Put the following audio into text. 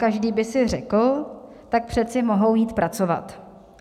Každý by si řekl: tak přece mohou jít pracovat.